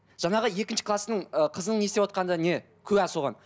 жаңағы екінші кластың ы қызының не істеватқанда не куә соған